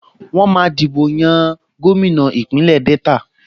Wọ́n máa dìbò yan gómìnà Ìpínlẹ̀ Delta